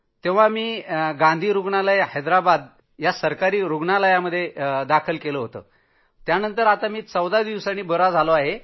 तेव्हा गांधी रूग्णालय हैदराबादचं सरकारी रूग्णालयात मला दाखल केलं होतं आणि त्यानंतर 14 दिवसांच्या उपचारानंतर मी बरा झालो